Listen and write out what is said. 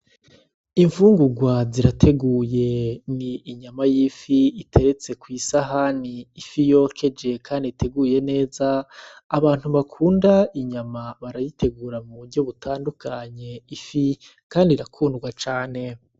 Infungurwa zirateguye n'inyama y'ifi iteretse ku isahani ifi yokeje kandi iteguye neza abantu bakunda inyama barayitegura mu buryo butandukanye ifi kandi irakundwa cane.